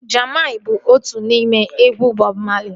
Jammin bụ otu n'ime egwu Bọb Mali